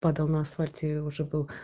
подал на асфальте уже был